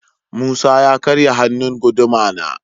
Musa ya karya hannun guduma na.